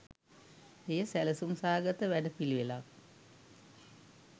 එය සැලසුම් සහගත වැඩපිළිවෙළක්